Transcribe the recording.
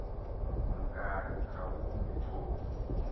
kumkani khawume torho